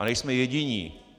A nejsme jediní.